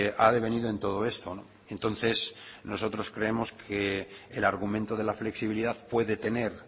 ha devenido en todo esto entonces nosotros creemos que el argumento de la flexibilidad puede tener